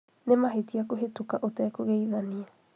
nĩ mahĩtia kuhĩtũka ũtekũgeithania